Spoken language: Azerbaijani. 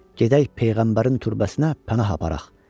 Gedək peyğəmbərin türbəsinə pənah aparaq.